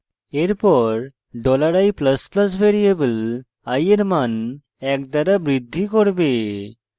এরপর $i ++ variable i এর then এক দ্বারা বৃদ্ধি করবে